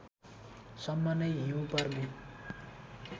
सम्म नै हिउँ पर्ने